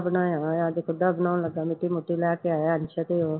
ਬਣਾਇਆ ਹੋਇਆ, ਅੱਜ ਖੁੱਡਾ ਬਣਾਉਣ ਲੱਗਾ ਮਿੱਟੀ ਮੁਟੀ ਲੈ ਕੇ ਆਇਆ ਹਾਲੇ ਤੱਕ ਉਹ